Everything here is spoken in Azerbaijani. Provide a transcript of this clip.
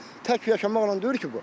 Amma tək yaşamaqla deyil ki bu.